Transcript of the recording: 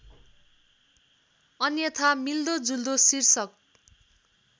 अन्यथा मिल्दोजुल्दो शीर्षक